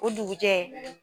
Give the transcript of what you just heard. O dugu jɛ.